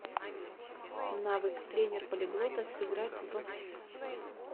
навык тренер полиглота сыграть в